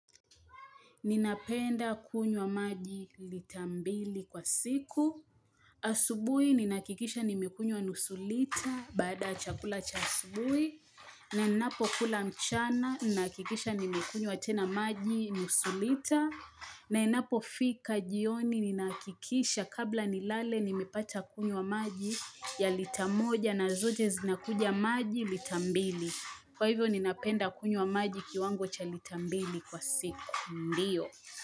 Ninapenda kunywa maji lita mbili kwa siku. Asubui, ninahakikisha nimekunywa nusu lita, baada ya chakula cha asubui. Na inapo kula mchana, ninahakikisha nimekunywa tena maji nusu lita. Na inapo fika jioni, ninakikisha kabla nilale, nimepata kunywa maji ya lita moja na zote zinakuja maji lita mbili. Kwa hivyo, ninapenda kunywa maji kiwango cha lita mbili kwa siku. Ndio.